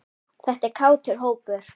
Þetta er kátur hópur.